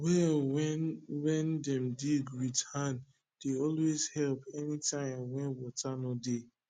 well wen wen dem dig wit hand dey always help anytim wen wata nor dey